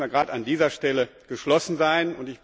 Deswegen müssen wir gerade an dieser Stelle geschlossen sein.